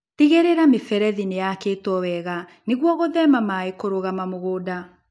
Tigĩrĩra miberethi nĩyakĩtwo wega nĩguo gũthema maĩ kũrũgama mũgunda.